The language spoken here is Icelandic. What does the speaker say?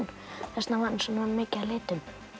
þess vegna var hann svona mikið af litum